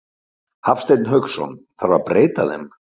Hafsteinn Hauksson: Þarf að breyta þeim?